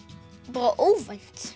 bara óvænt